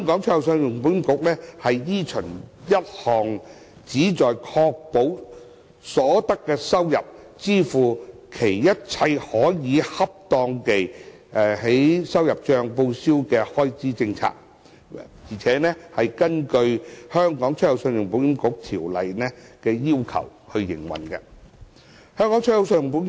信保局依循一項旨在確保所得收入足以支付其一切可恰當地在收入帳報銷的開支政策，並根據《條例》的要求營運。